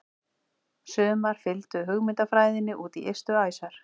Sumar fylgdu hugmyndafræðinni út í ystu æsar.